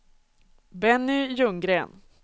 Benny Ljunggren